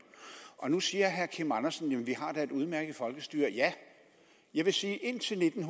nu siger herre kim andersen at vi da har et udmærket folkestyre ja jeg vil sige indtil nitten